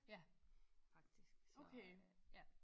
Ja faktisk så ja